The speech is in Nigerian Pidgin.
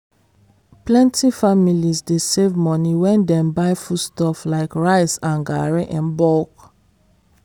plenty families dey save money when dem buy foodstuff like rice and garri in bulk.